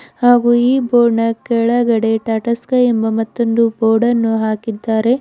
ಹಾಗೂ ಈ ಬೋರ್ಡ್ ನ ಕೆಳಗಡೆ ಟಾಟಾ ಸ್ಕೈ ಎಂಬ ಮತ್ತೊಂದು ಬೋರ್ಡ ನ್ನು ಹಾಕಿದ್ದಾರೆ.